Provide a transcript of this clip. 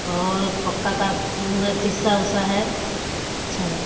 और पक्का का रूम है। सीसा उसा है सब कुछ अच्छा है।